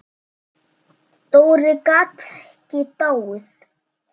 Dóri gat ekki dáið.